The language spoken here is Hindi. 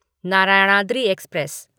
नारायणाद्रि एक्सप्रेस